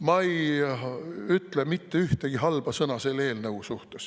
Ma ei ütle mitte ühtegi halba sõna selle eelnõu kohta.